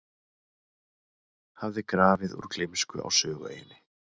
hafði grafið úr gleymsku á Sögueyjunni.